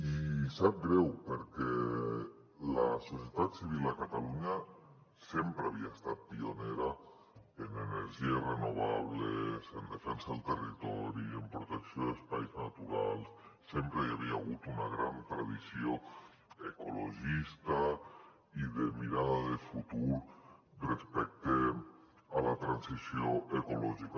i sap greu perquè la societat civil a catalunya sempre havia estat pionera en energies renovables en defensa del territori en protecció d’espais naturals sempre hi havia hagut una gran tradició ecologista i de mirada de futur respecte a la transició ecològica